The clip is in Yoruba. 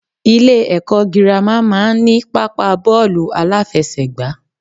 Ilé èkó girama má a n ní pápá bóòlù aláfesègbà